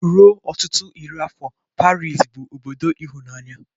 Ruo ọtụtụ iri afọ, Pariz bụ obodo ịhụnanya.